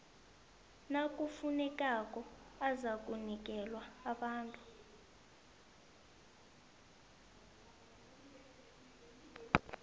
nakufunekako azakunikelwa abantu